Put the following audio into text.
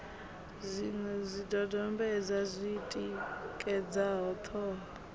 zwiṅwe zwidodombedzwa zwi tikedzaho ṱhoho